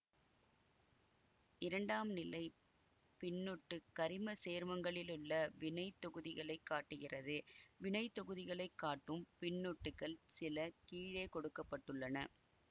இரண்டாம் நிலை பின்னொட்டு கரிம சேற்மங்களிலுள்ள வினை தொகுதிகளை காட்டுகிறது வினை தொகுதிகளைக் காட்டும் பின்னொட்டுகள் சில கீழே கொடுக்க பட்டுள்ளன